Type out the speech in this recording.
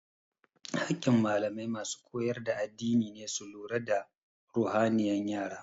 Hakin malamai masu koyar da addini ne su lura da ruhaniyan yara